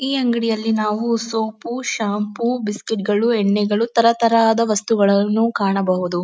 ಈ ಅಂಗಡಿಯಲ್ಲಿ ನಾವು ಸೋಪು ಶಾಂಪು ಬಿಸ್ಕೆಟ್ ಗಳು ಎಣ್ಣೆಗಳು ತರತರಹದ ವಸ್ತುಗಳನ್ನು ಕಾಣಬಹುದು.